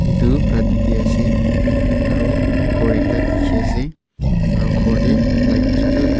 tu rati tey ase aro ghor ekta dikhi ase aro ghor tey light chutu.